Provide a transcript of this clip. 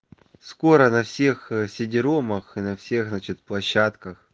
скоро на всех ээ сидиромах и на всех значит площадках